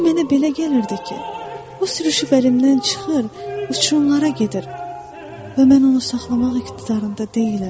Amma mənə belə gəlirdi ki, o sürüşüb əlimdən çıxır, uçurumlara gedir və mən onu saxlamaq iqtidarında deyiləm.